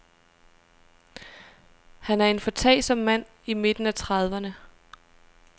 Han er en foretagsom mand i midten af trediverne.